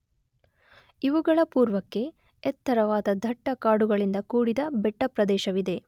ಇವುಗಳ ಪೂರ್ವಕ್ಕೆ ಎತ್ತರವಾದ ದಟ್ಟ ಕಾಡುಗಳಿಂದ ಕೂಡಿದ ಬೆಟ್ಟ ಪ್ರದೇಶವಿದೆ.